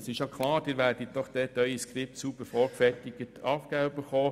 Es ist klar, Sie werden Ihr Skript sauber vorgefertigt erhalten haben.